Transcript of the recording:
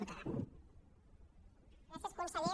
gràcies conseller